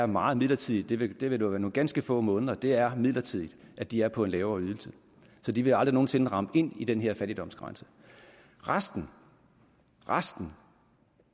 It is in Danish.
meget midlertidigt det vil være nogle ganske få måneder det er midlertidigt at de er på en lavere ydelse så de vil aldrig nogen sinde ramme ind i den her fattigdomsgrænse resten resten